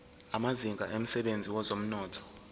amazinga emsebenzini wezomnotho